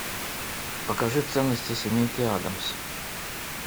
покажи ценности семейки аддамс